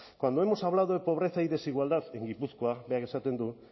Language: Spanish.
cuando hemos hablado de pobreza y desigualdad en gipuzkoa berak esaten du